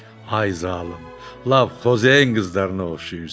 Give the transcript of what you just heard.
Ay zalım, Lav Xozen qızlarına oxşayırsan.